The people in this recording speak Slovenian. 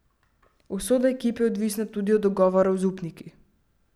Usoda ekipe je odvisna tudi od dogovorov z upniki.